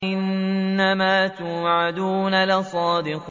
إِنَّمَا تُوعَدُونَ لَصَادِقٌ